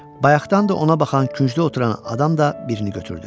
Bayaqdan da ona baxan küncdə oturan adam da birini götürdü.